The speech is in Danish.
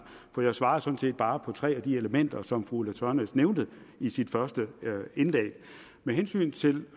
for jeg svarede sådan set bare på tre af de elementer som fru ulla tørnæs nævnte i sit første indlæg med hensyn til